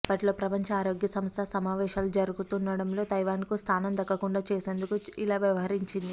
అప్పట్లో ప్రపంచ ఆరోగ్య సంస్థ సమావేశాలు జరగనుండటంతో తైవాన్కు స్థానం దక్కకుండా చేసేందుకు ఇలా వ్యవహరించింది